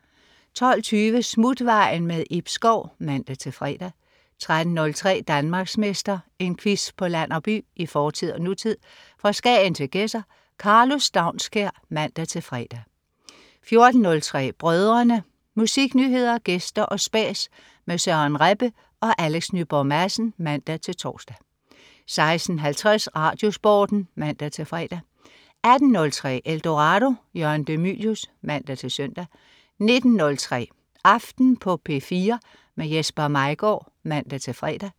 12.20 Smutvejen. Ib Schou (man-fre) 13.03 Danmarksmester. En quiz på land og by, i fortid og nutid, fra Skagen til Gedser. Karlo Staunskær (man-fre) 14.03 Brødrene. Musiknyheder, gæster og spas med Søren Rebbe og Alex Nyborg Madsen (man-tors) 16.50 RadioSporten (man-fre) 18.03 Eldorado. Jørgen de Mylius (man-søn) 19.03 Aften på P4. Jesper Maigaard (man-fre)